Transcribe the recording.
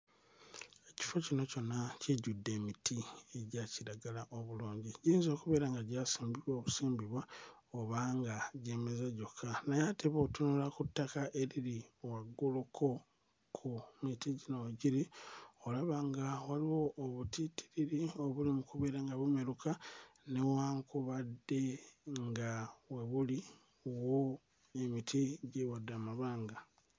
Ekifo kino kyonna kijjudde emiti egya kiragala omulungi. Giyinza okubeera nga gyasimbibwa busimbibwa oba nga gyemeza gyokka. Naye ate bw'otunula ku ttaka eriri wagguluko ku miti gino we giri, olaba nga waliwo obutiitiriri obuli mu kubeera nga bumeruka newankubadde nga we buli wo emiti gy'ewadde amabanga.